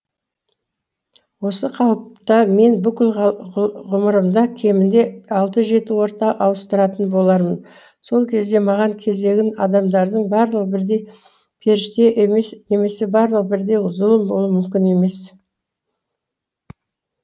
осы қалыпта мен бүкіл ғұмырымда кемінде алты жеті орта ауыстыратын болармын сол кезде маған кезігетін адамдардың барлығы бірдей періште немесе барлығы бірдей зұлым болуы мүмкін емес